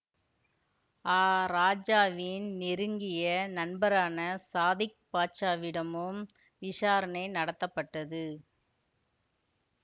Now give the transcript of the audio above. ஆ ராஜாவின் நெருங்கிய நண்பரான சாதிக் பாட்சாவிடமும் விசாரணை நடத்தப்பட்டது